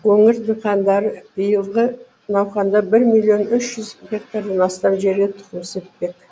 өңір диқандары биылғы науқанда бір миллион үш жүз гектардан астам жерге тұқым сеппек